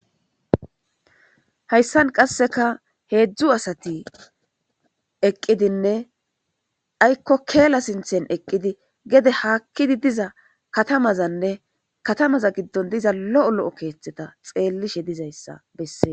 Hayssan qasseka heedzdzu asati eqqidinne aykko keela sinththen eqqidi gede haakkidi diza katamazanne katamaza giddon diza lo'o lo'o keeththeta xeellishe dizayssa besses.